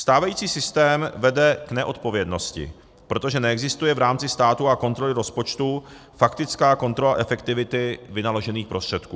Stávající systém vede k neodpovědnosti, protože neexistuje v rámci státu a kontroly rozpočtu faktická kontrola efektivity vynaložených prostředků.